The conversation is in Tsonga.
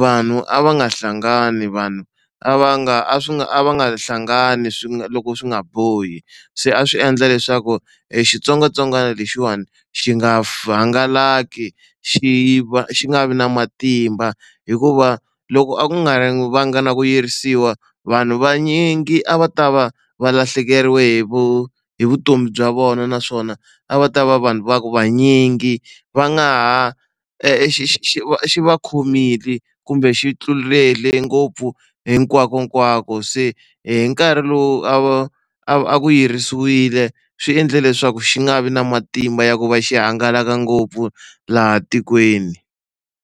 vanhu a va nga hlangani vanhu a va nga a swi nga a va nga hlangani swi nga loko swi nga bohi se a swi endla leswaku xitsongwatsongwana lexiwani xi nga hangalaki xi va xi nga vi na matimba hikuva loko a nga a ri va nga na ku yirisiwa vanhu vanyingi a va ta va va lahlekeriwe hi hi vutomi bya vona naswona a va ta va vanhu va vanyingi va nga ha e xi xi xi va khomile kumbe xi tlulele ngopfu hinkwakonkwako se hi nkarhi lowu a va a ku yirisiwile swi endle leswaku xi nga vi na matimba ya ku va xi hangalaka ngopfu laha tikweni.